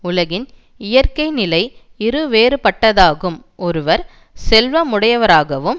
உலகின் இயற்கை நிலை இரு வேறுபட்டதாகும் ஒருவர் செல்வமுடையவராகவும்